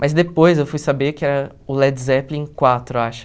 Mas depois eu fui saber que era o Led Zeppelin quatro, eu acho.